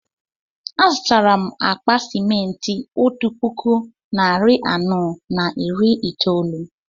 Azutara m akpa simenti otú puku narị anọ na iri itoolu